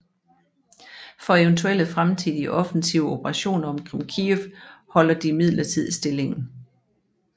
For eventuelle fremtidige offensive operationer omkring Kyiv holder de Imidlertid stillingen